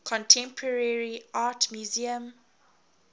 contemporary art museum